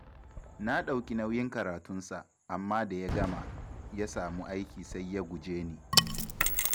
Na ɗauki nauyin karatunsa, amma da ya gama, ya samu aiki sai ya guje ni.